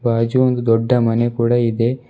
ಬಾಜು ಒಂದು ದೊಡ್ಡ ಮನೆ ಕೂಡ ಇದೆ.